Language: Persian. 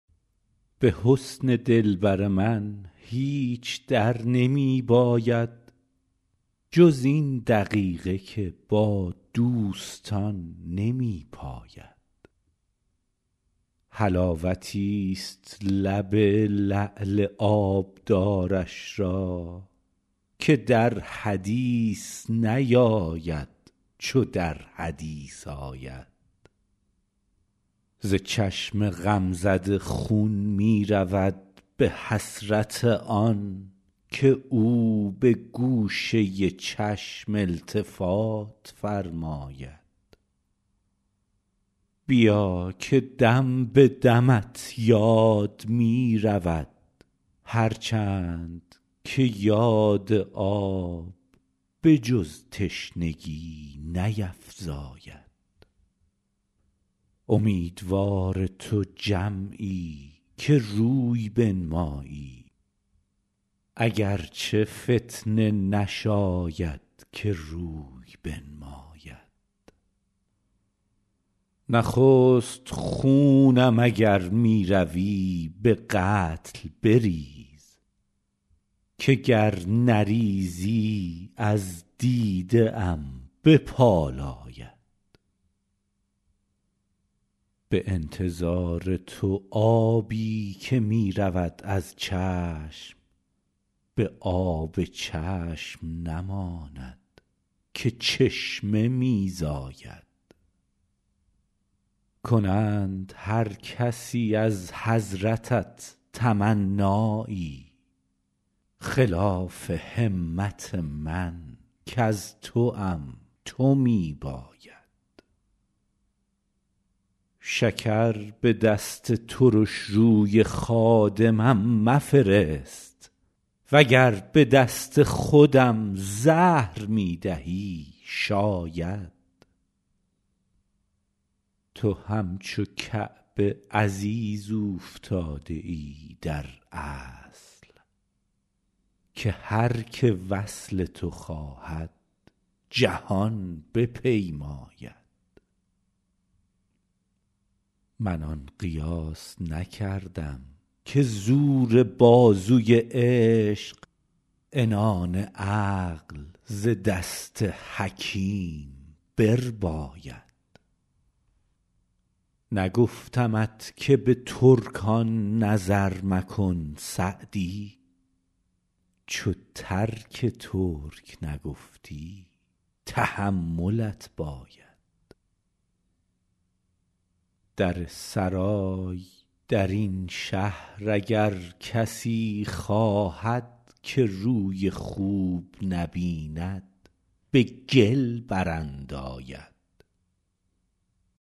به حسن دلبر من هیچ در نمی باید جز این دقیقه که با دوستان نمی پاید حلاوتیست لب لعل آبدارش را که در حدیث نیاید چو در حدیث آید ز چشم غمزده خون می رود به حسرت آن که او به گوشه چشم التفات فرماید بیا که دم به دمت یاد می رود هر چند که یاد آب به جز تشنگی نیفزاید امیدوار تو جمعی که روی بنمایی اگر چه فتنه نشاید که روی بنماید نخست خونم اگر می روی به قتل بریز که گر نریزی از دیده ام بپالاید به انتظار تو آبی که می رود از چشم به آب چشم نماند که چشمه می زاید کنند هر کسی از حضرتت تمنایی خلاف همت من کز توام تو می باید شکر به دست ترش روی خادمم مفرست و گر به دست خودم زهر می دهی شاید تو همچو کعبه عزیز اوفتاده ای در اصل که هر که وصل تو خواهد جهان بپیماید من آن قیاس نکردم که زور بازوی عشق عنان عقل ز دست حکیم برباید نگفتمت که به ترکان نظر مکن سعدی چو ترک ترک نگفتی تحملت باید در سرای در این شهر اگر کسی خواهد که روی خوب نبیند به گل برانداید